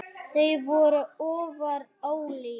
Þau voru afar ólík.